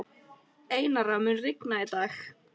Einara, mun rigna í dag?